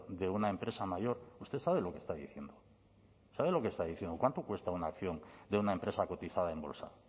de una empresa mayor usted sabe lo que está diciendo sabe lo que está diciendo cuánto cuesta una acción de una empresa cotizada en bolsa